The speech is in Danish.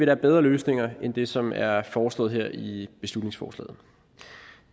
er bedre løsninger end det som er foreslået her i beslutningsforslaget